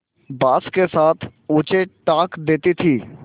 बाँस के साथ ऊँचे टाँग देती थी